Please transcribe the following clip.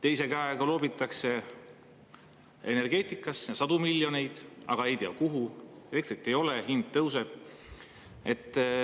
Energeetikasse loobitakse sadu miljoneid, aga ei tea, kuhu, elektrit ei ole ja hind tõuseb.